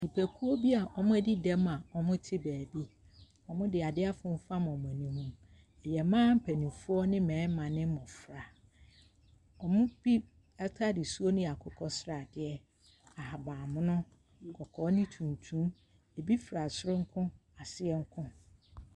Nnipakuo bi a wɔadi dɛm a wɔte baabi. Wɔde ade afemfam wɔn ani mu. Ɛyɛ mmaa mpanimfoɔ ne mmarima ne mmɔfra. Wɔn mu bi atade suo no yɛ akokɔ sradeɛ, ahaban mono, kɔkɔɔ ne tuntum. Ebi fura soro nko, aseɛ nko.